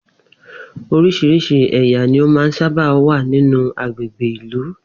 Orís̩irís̩i è̩yà ní ó máa sábà ń wà nínú agbègbè ìlú